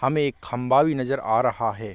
हमें एक खम्बा भी नज़र आ रहा हैं।